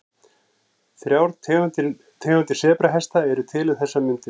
Þrjár tegundir sebrahesta eru til um þessar mundir.